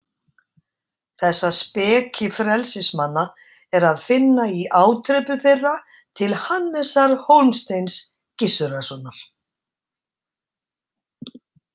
Þessa speki frelsismanna er að finna í ádrepu þeirra til Hannesar Hólmsteins Gissurarsonar.